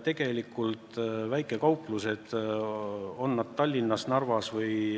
Väikekaupluste arv, on nad siis Tallinnas, Narvas või